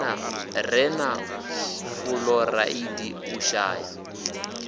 re na fuloraidi u shaya